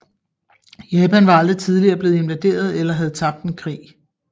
Japan var aldrig tidligere blevet invaderet eller havde tabt en krig